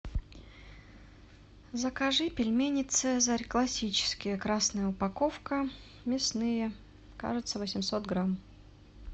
закажи пельмени цезарь классические красная упаковка мясные кажется восемьсот грамм